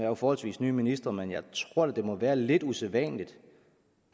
jo forholdsvis ny minister men jeg tror da det må være lidt usædvanligt